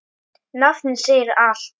Nafnið segir allt.